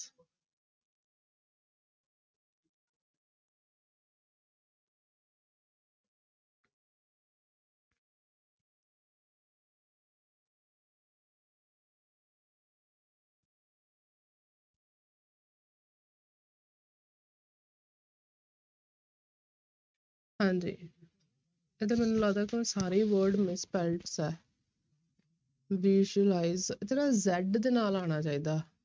ਹਾਂਜੀ ਇਹ ਤਾਂ ਮੈਨੂੰ ਲੱਗਦਾ ਤਾਂ ਸਾਰੇ ਹੀ word misspelt ਹੈ visualize ਇੱਥੇ ਨਾ z ਦੇ ਨਾਲ ਆਉਣਾ ਚਾਹੀਦਾ।